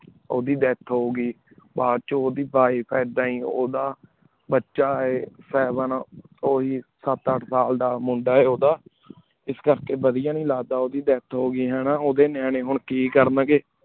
ਉੜੀ death ਹੂ ਗੀ ਬਛੁ ਉੜੀ wife ਉੜਾ ਬਚਾ ਆਯ ਸਾਵੇਂ ਉਹੀ ਸਤ ਅਠ ਸਾਲ ਦਾ ਮੁੰਡਾ ਹੈਂ ਉੜਾ ਇਸ ਕਰ ਕੀ ਵਾਦੇਯਾ ਨੀ ਲਗਾ ਦਾ ਕੀ ਉੜੇ death ਹੂ ਗੀ ਹਾਨਾ ਉਦਯ ਨਿਯਾਨ ਹੁਣ ਕੀ ਕਰਨ ਗੀ